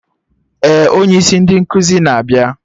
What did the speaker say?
Ee, onye isi ndị nkụzi na-abịa